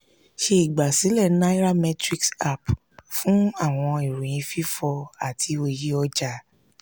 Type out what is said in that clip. ṣe igbasilẹ nairametrics app fun awọn iroyin fifọ ati oye ọja.